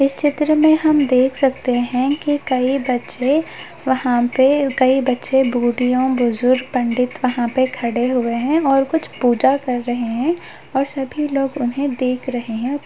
इस चित्र में हम देख सकते है की कई बच्चे वहाँ पे कई बच्चे भुड़यों बुजुर्ग पंडित वहाँ पर खड़े हुए है और कुछ पूजा कर रहे है और सभी लोग उन्हें देख रहे है।